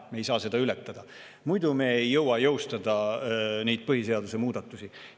Me ei saa seda ületada, muidu me ei jõua neid põhiseaduse muudatusi jõustada.